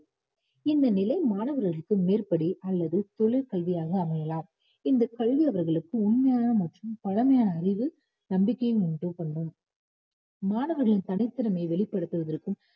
இந்த நிலை மாணவர்களுக்கு மேற்படி அல்லது தொழிற்கல்வியாக அமையலாம் இந்த கல்வி அவர்களுக்கு உண்மையான மற்றும் பழமையான அறிவு நம்பிக்கையை உண்டு பண்ணும் மாணவர்களின் தனித்திறமையை வெளிப்படுத்துவதற்கும்